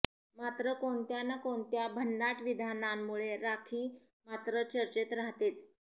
मात्र कोणत्या न् कोणत्या भन्नाट विधानांमुळे राखी मात्र चर्चेत राहतेच